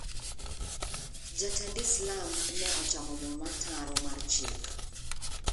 Jatend to islam ne ochamo muma ataro mar chik.